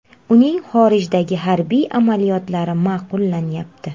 Uning xorijdagi harbiy amaliyotlari ma’qullanyapti.